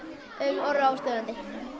Orra óstöðvandi